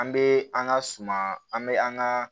An bɛ an ka suman an bɛ an ka